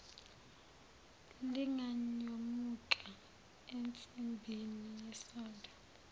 linganyomuka ensimbini yesondo